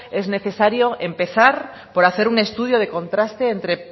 es necesario empezar por hacer un estudio de contraste entre